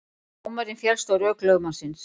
Dómarinn féllst á rök lögmannsins